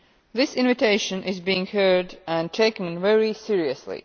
This invitation is being heard and taken very seriously.